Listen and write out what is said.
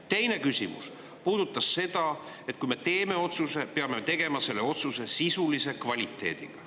Teine küsimus puudutas seda, et kui me teeme otsuse, siis peame me tegema selle otsuse sisulise kvaliteediga.